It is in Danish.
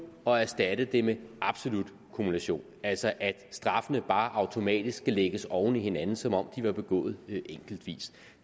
og erstatte det med absolut kumulation altså at straffene bare automatisk skal lægges oven i hinanden som om var begået enkeltvis